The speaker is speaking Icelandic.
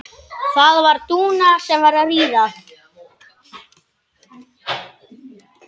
Það var Dúa.